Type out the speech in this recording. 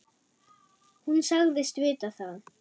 Hún sagðist vita það.